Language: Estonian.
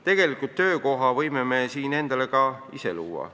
Tegelikult töökoha võime ju endale ka ise luua.